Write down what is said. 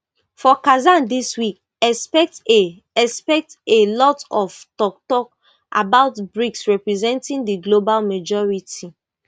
for kazan dis week expect a expect a lot of toktok about brics representing di global majority